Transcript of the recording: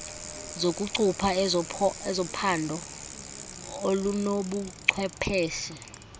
zokucupha ezophando olunobuchwepheshe